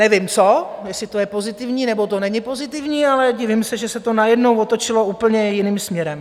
Nevím co, jestli to je pozitivní, nebo to není pozitivní, ale divím se, že se to najednou otočilo úplně jiným směrem.